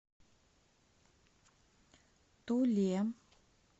туле